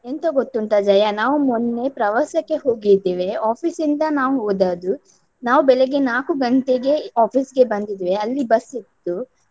ಎಂತ ಗೊತ್ತುಂಟ ಜಯಾ, ನಾವು ಮೊನ್ನೆ ಪ್ರವಾಸಕ್ಕೆ ಹೋಗಿದ್ದೇವೆ. Office ಇಂದ ನಾವು ಹೋದದ್ದು. ನಾವು ಬೆಳಗ್ಗೆ ನಾಲ್ಕು ಗಂಟೆಗೆ office ಗೆ ಬಂದಿದ್ದೇವೆ. ಅಲ್ಲಿ ಬಸ್ ಇತ್ತು.